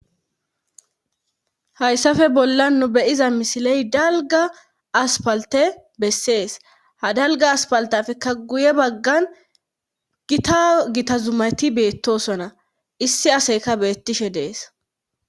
Hayssafe bolla nu beyiza misiley dalga aspalte bessees ha dalga aspaltafekka guye baggan gita gitazumati beettosona issi aseyka beettishe dees